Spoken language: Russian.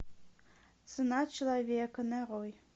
цена человека нарой